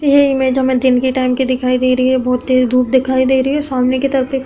ये इमेज हमें दिन के टाइम की दिखाई दे रही है। बोहोत तेज धूप दिखाई दे रही है। सामने की तरफ एक --